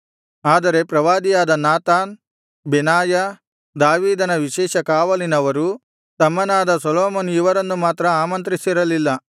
ಆದರೆ ಪ್ರವಾದಿಯಾದ Nathan Benaiah ದಾವೀದನ ವಿಶೇಷ ಕಾವಲಿನವರು ತಮ್ಮನಾದ ಸೊಲೊಮೋನ್ ಇವರನ್ನು ಮಾತ್ರ ಆಮಂತ್ರಿಸಿರಲಿಲ್ಲ